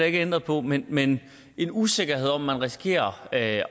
ikke ændret på men men en usikkerhed om hvorvidt man risikerer at